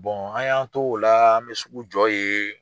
an y'an to o la an bɛ sugujɔ yen